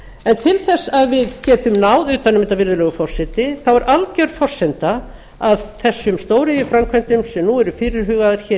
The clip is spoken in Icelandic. en til þess að við getum náð utan um þetta virðulegi forseti er alger forsenda að þessum stóriðjuframkvæmdum sem nú eru fyrirhugaðar